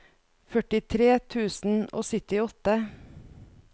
førtitre tusen og syttiåtte